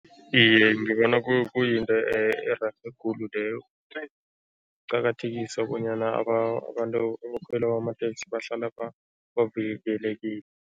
Iye, ngibona kuyinto ererhe khulu leyo, ukuqakathekisa bonyana abantu ebakhwela amateksi bahlala bavikelekile.